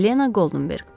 Helena Goldenberq.